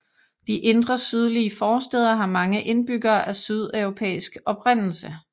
De indre sydlige forstæder har mange indbyggere af sydeuropæisk oprindelse